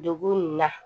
Dugu in na